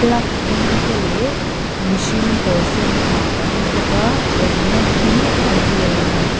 plug dum te leh mihring kawr sen ha kan hmu bawk a awm na hi a grey a ni.